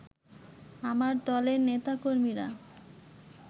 আমার দলের নেতা-কর্মীরা